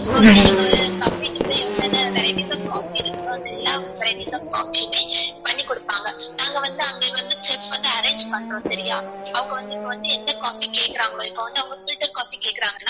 இப்போ வந்து நீங்க ஒரு cafe க்கு போய் என்ன என்ன varieties of coffee இருக்குதோ அதெல்லா varieties of coffee யுமே பண்ணி குடுப்பாங்க நாங்க வந்து அங்க வந்து chef வந்து arrange பண்றோம் சரியா அவங்க வந்து இப்போ வந்து எந்த coffee கேக்குராங்களோ இப்போ வந்து அவங்க filter coffee கேக்குறாங்கனா